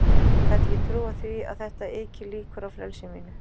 Ég gat ekki trúað því að þetta yki líkur á frelsi mínu.